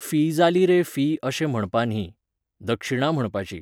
Fee जाली रे fee अशें म्हणपा न्ही. दक्षिणा म्हणपाची.